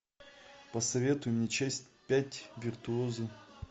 посоветуй мне часть пять виртуозы